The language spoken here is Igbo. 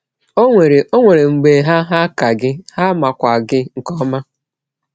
Ọ nwere Ọ nwere mgbe ha hà ka gị, ha makwa gị nke ọma.